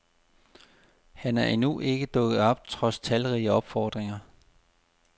Han er endnu ikke dukket op trods talrige opfordringer.